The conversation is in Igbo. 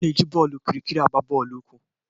A na-eji bọọlụ okirikiri na-agba bọọlụ ukwu.